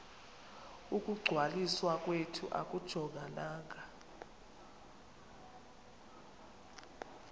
ukungcwaliswa kwethu akujongananga